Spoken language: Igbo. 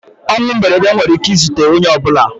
Ọnwụ mberede nwere ike ị zute onye ọbụla.